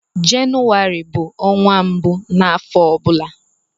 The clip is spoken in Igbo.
Jenụwarị bu ọnwa mbụ n'afọ ọbụla.